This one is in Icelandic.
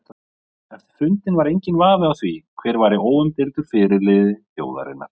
Eftir fundinn var enginn vafi á því hver væri óumdeildur fyrirliði þjóðarinnar.